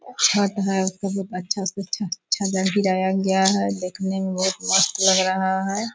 छत है बहुत अच्छा से अच्छा छत है। गिराया गया है। देखने में बहुत मस्त लग रहा है।